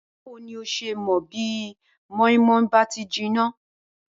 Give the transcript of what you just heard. Báwo ni n ó s̩e mò̩ bí mó̩ínmó̩ín bá ti jiná?